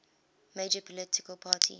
major political party